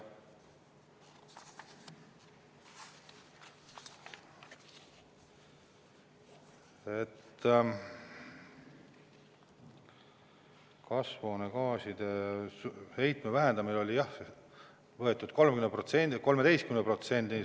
Kasvuhoonegaaside heitme vähendamise siht oli jah 13%.